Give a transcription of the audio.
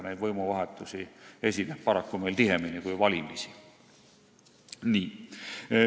Neid võimuvahetusi esineb meil paraku tihemini kui valimisi.